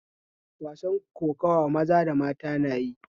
Wasan kokuwa maza da mata na yi